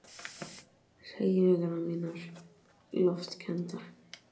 Hreyfingar mínar loftkenndar.